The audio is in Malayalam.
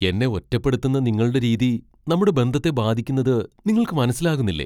എന്നെ ഒറ്റപ്പെടുത്തുന്ന നിങ്ങളുടെ രീതി നമ്മുടെ ബന്ധത്തെ ബാധിക്കുന്നുത് നിങ്ങൾക്ക് മനസിലാകുന്നില്ലേ?